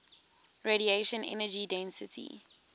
radiation energy density